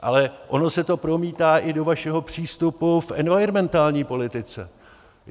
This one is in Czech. Ale ono se to promítá i do vašeho přístupu k environmentální politice.